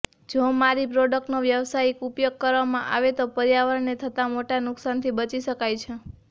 જો મારી પ્રોડક્ટનો વ્યવસાયિક ઉપયોગ કરવામાં આવે તો પર્યાવરણને થતા મોટા નુકસાનથી બચી શકાય છે